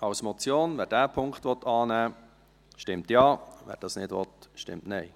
Wer diesen Punkt annehmen will, stimmt Ja, wer das nicht will, stimmt Nein.